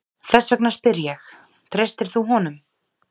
Þess vegna spyr ég, treystir þú honum?